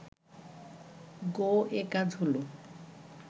গোঁ এ কাজ হল